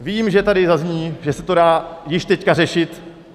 Vím, že tady zazní, že se to dá již teď řešit.